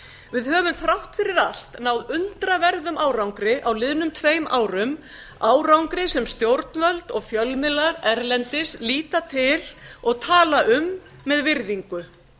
við höfum þrátt fyrir allt náð undraverðum árangri á liðnum tveim árum árangri sem stjórnvöld og fjölmiðlar erlendis líta til og tala um með virðingu